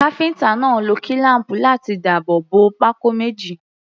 Káfíńtà náà lo kílám̀pù láti dáàbò bo pákó méjì.